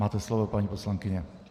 Máte slovo, paní poslankyně.